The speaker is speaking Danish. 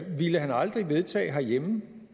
ville han aldrig vedtage herhjemme